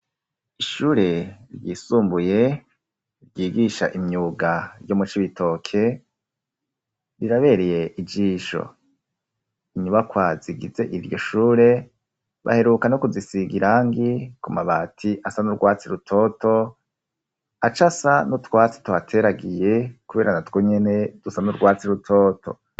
Ishure ryisumbuye ryigisha imyuga ryo mu Cibitoke rirabereye ijisho. Inyubakwa zigize iryo shure baheruka no kuzisiga irangi ku mabati asa n'urwatsi rutoto, aca asa n'utwatsi twateragiye kubera natwo nyene dusa n'urwatsi rutoto.